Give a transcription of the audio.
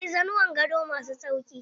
Akwai za nuwan gado ma su sauƙi.